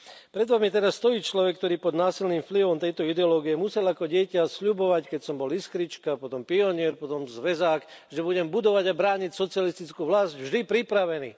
Pred vami teraz stojí človek, ktorý pod násilným vplyvom tejto ideológie musel ako dieťa sľubovať, keď som bol iskrička, potom pionier, potom zväzák, že budem budovať a brániť socialistickú vlasť vždy pripravený.